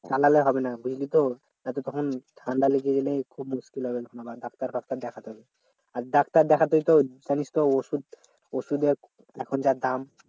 চালালে হবে না বুঝলি তো যাতে তখন ঠান্ডা লেগে গেলে খুব মুস্কিল হবে তখন আবার doctor ফাক্তার দেখাতে হবে আর doctor দেখাতে তো জানিস তো ওষুধ ওষুধের এখন যা দাম